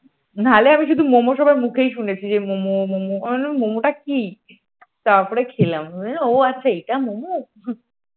না হলে আমি শুধু মোমো সবার মুখেই শুনেছি যে মোমো মোমো আমি ভাবতাম মোমোটা কি তারপরে খেলাম ও আচ্ছা এইটাই মোমো ।